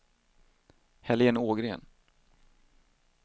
Helén Ågren